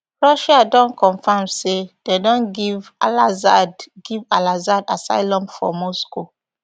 russia don confirm say dem don give alassad give alassad assylum for moscow